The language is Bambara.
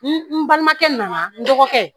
N balimakɛ nana n dɔgɔkɛ